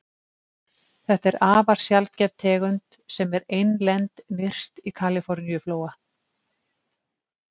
Þetta er afar sjaldgæf tegund sem er einlend nyrst í Kaliforníuflóa.